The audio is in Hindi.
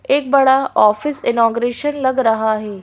एक बड़ा ऑफिस इनोगरेशन लग रहा है।